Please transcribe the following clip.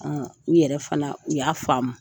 U yɛrɛ fana u y'a faamu.